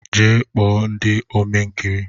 Jee kpo ndị Ome nkiri!